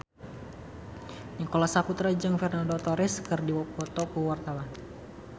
Nicholas Saputra jeung Fernando Torres keur dipoto ku wartawan